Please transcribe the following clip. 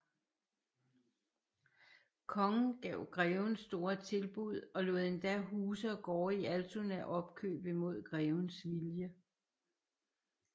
Kongen gav greven store tilbud og lod endda huse og gårde i Altona opkøbe mod grevens vilje